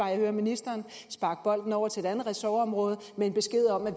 jeg hører ministeren sparke bolden over til et andet ressortområde med en besked om at